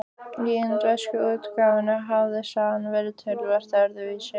Í indversku útgáfunni hafði sagan verið töluvert öðruvísi.